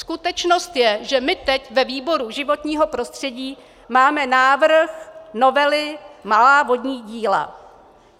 Skutečnost je, že my teď ve výboru životního prostředí máme návrh novely malá vodní díla.